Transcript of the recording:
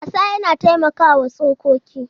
Wasa yana taimakawa tsokoki.